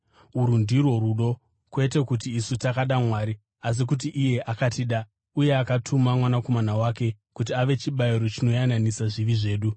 Urwu ndirwo rudo: kwete kuti isu takada Mwari, asi kuti iye akatida uye akatuma Mwanakomana wake kuti ave chibayiro chinoyananisa zvivi zvedu.